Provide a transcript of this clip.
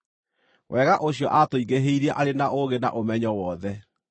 wega ũcio aatũingĩhĩirie arĩ na ũũgĩ na ũmenyo wothe.